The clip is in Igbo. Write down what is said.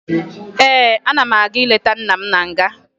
Ee, ana m aga ileta nna m na nga